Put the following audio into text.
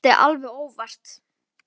Ég dæsti alveg óvart.